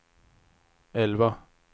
elva